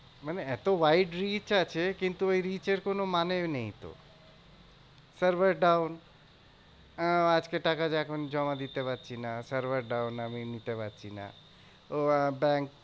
মানে এত wide reach আছে কিন্তু ওই reach এর কোনো মানেও নেই তো। server down আহ আজকে টাকা এখন জমা দিতে পারছি না server down আমি নিতে পারছি না। ও আহ ব্যাঙ্ক